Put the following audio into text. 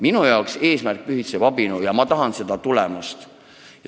Minu jaoks eesmärk pühitseb abinõu, ja ma tahan seda tulemust.